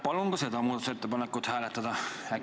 Palun ka seda muudatusettepanekut hääletada!